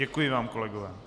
Děkuji vám, kolegové.